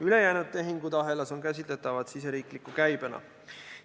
Ülejäänud tehingud ahelas on käsitletavad siseriikliku käibena.